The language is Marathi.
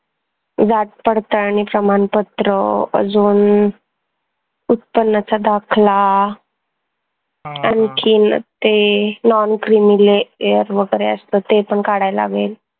जात पडताळणी प्रमानपत्र अजून उत्पन्नाचा दाखला आनखीन ते noncreamyair वगैरे असत ते पन काढाय लागेल